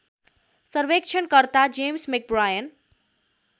सर्वेक्षणकर्ता James McBrien